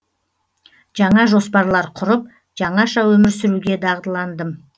жаңа жоспарлар құрып жаңаша өмір сүруге дағдыландым